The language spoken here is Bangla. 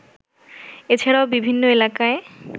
এছাড়াও বিভিন্ন এলাকায়